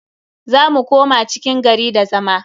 Za mu koma cikin gari da zama.